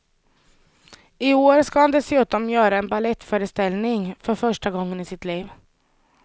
I år ska han dessutom göra en balettföreställning, för första gången i sitt liv.